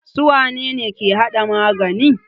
Su wane ne ke hada magani?